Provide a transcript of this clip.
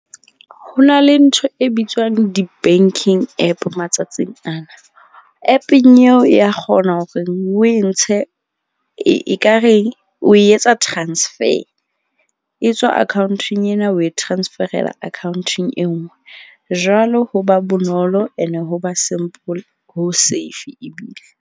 Ho na le ntho e bitswang di-bank-ing app matsatsing ana, app-eng eo ya kgona horeng o e ntshe e ekare o etsa transfer. E tswa account-ong ena o e transferela akhaonteng e nngwe. Jwalo ho ba bonolo ene ho ba simple ho safe ebile.